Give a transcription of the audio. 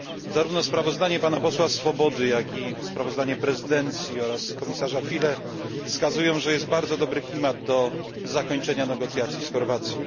Zarówno sprawozdanie pana posła Swobody, jak i sprawozdanie prezydencji oraz komisarza Füle wskazują, że jest bardzo dobry klimat do zakończenia negocjacji z Chorwacją.